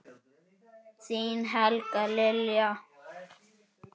Þín Helga Lilja.